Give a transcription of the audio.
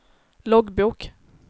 loggbok